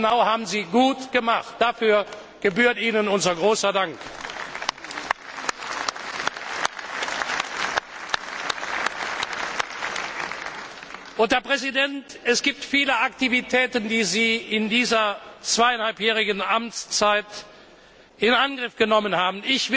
Genau das haben Sie gut gemacht. Dafür gebührt Ihnen unser großer Dank! Herr Präsident, es gibt viele Aktivitäten, die Sie in dieser zweieinhalbjährigen Amtszeit in Angriff genommen haben.